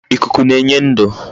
Ikuku na-enye ndu